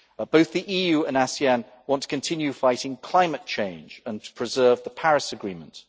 Both the EU and ASEAN want to continue fighting climate change and to preserve the Paris Agreement.